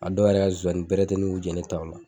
A dɔw yɛrɛ ka zonsannin bɛrɛ ti ɲini k'u jɛ ne taw la.